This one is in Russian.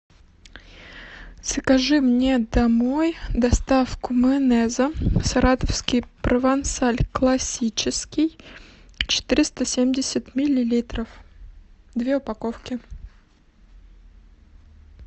закажи мне домой доставку майонеза саратовский провансаль классический четыреста семьдесят миллилитров две упаковки